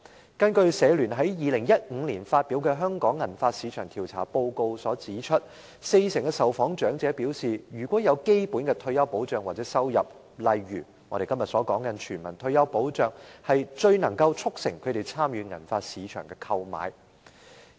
根據香港社會服務聯會在2015年發表的《香港銀髮市場調查報告》，四成受訪長者表示，如果有基本的退休保障或收入，例如我們今天所說的全民退休保障，最能促成他們參與銀髮市場的購買活動。